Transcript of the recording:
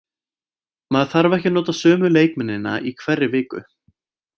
Maður þarf ekki að nota sömu leikmennina í hverri viku.